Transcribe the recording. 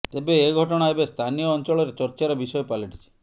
ତେବେ ଏ ଘଟଣା ଏବେ ସ୍ଥାନୀୟ ଅଞ୍ଚଳରେ ଚର୍ଚ୍ଚାର ବିଷୟ ପାଲଟିଛି